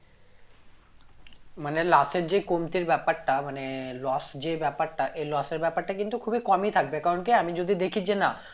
মানে লাশের যে কমতির ব্যাপারটা মানে loss যে ব্যাপারটা এই loss এর ব্যাপারটা কিন্তু খুবই কমই থাকবে কারণ কি আমি যদি দেখি যে না